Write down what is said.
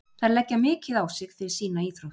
Þær leggja mikið á sig fyrir sína íþrótt.